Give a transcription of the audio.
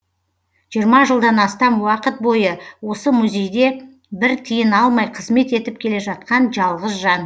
жиырма жылдан астам уақыт бойы осы музейде бір тиын алмай қызмет етіп келе жатқан жалғыз жан